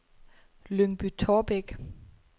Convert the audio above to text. Lyngby-Taarbæk